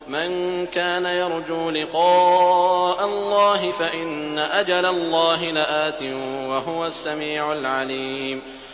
مَن كَانَ يَرْجُو لِقَاءَ اللَّهِ فَإِنَّ أَجَلَ اللَّهِ لَآتٍ ۚ وَهُوَ السَّمِيعُ الْعَلِيمُ